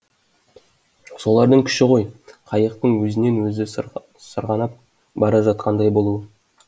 солардың күші ғой қайықтың өзінен өзі сырғанап бара жатқандай болуы